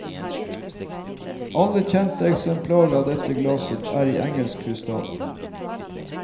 Alle kjente eksemplarer av dette glasset er i engelsk krystall.